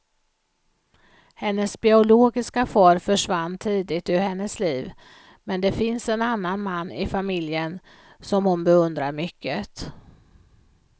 Hennes biologiska far försvann tidigt ur hennes liv, men det finns en annan man i familjen som hon beundrar mycket.